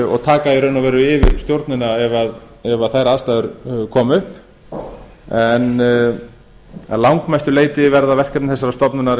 og taka í raun og veru yfir stjórnina ef þær aðstæður koma upp en að langmestu leyti verða verkefni þessarar stofnunar